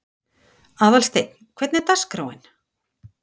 Aðalsteinn, hvernig er dagskráin?